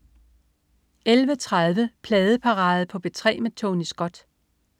11.30 Pladeparade på P3 med Tony Scott